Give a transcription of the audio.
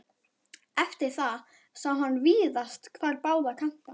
Eftir það sá hann víðast hvar báða kanta.